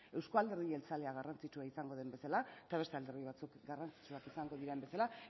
euskal alderdi jeltzalea garrantzitsua izango den bezala eta beste alderdi batzuk garrantzitsuak izango diren bezala